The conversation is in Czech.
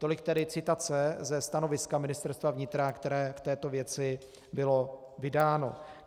Tolik tedy citace ze stanoviska Ministerstva vnitra, které v této věci bylo vydáno.